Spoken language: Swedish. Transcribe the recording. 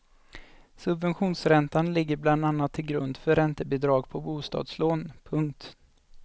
Subventionsräntan ligger bland annat till grund för räntebidrag på bostadslån. punkt